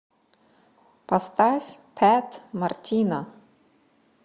поставь пэт мартино